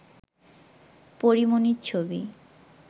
পরী মনির ছবি